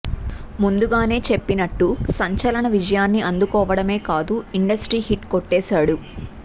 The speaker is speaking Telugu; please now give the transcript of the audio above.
ముందుగానే చెప్పినట్టు సంచలన విజయాన్ని అందుకోవడమే కాదు ఇండస్ట్రీ హిట్ కొట్టేసాడు